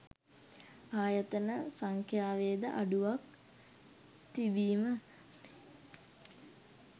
ආයතන සංඛ්‍යාවේද අඩුවක් තිබීම